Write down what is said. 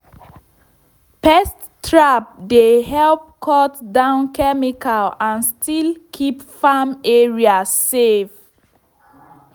pest trap dey help cut down chemical and still keep farm area safe.